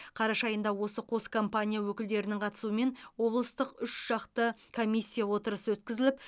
қараша айында осы қос компания өкілдерінің қатысуымен облыстық үшжақты комиссия отырысы өткізіліп